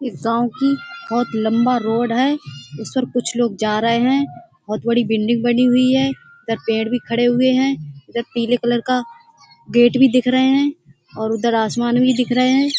इस गाँव की बहोत लंबा रोड है इस पर कुछ लोग जा रहे हैं। बहोत बड़ी बिल्डिंग बनी हुई है इधर पेड़ भी खड़े हुए हैं इधर पीले कलर का गेट भी दिख रहे है और उधर आसमान भी दिख रहे हैं।